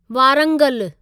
Warangal